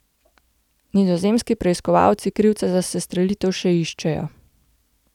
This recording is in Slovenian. Nizozemski preiskovalci krivca za sestrelitev še iščejo.